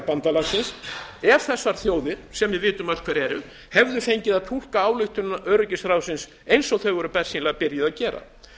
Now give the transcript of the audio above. bandalagsins ef þessar þjóðir sem við vitum öll hverjar eru hefðu fengið að túlka ályktun öryggisráðsins eins og þau voru bersýnilega byrjuð að gera